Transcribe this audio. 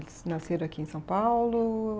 Eles nasceram aqui em São Paulo?